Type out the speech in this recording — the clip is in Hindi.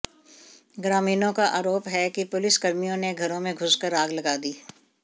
ग्रामीणों का आरोप है कि पुलिसकर्मियों ने घरों मे घुसकर आग लगा दी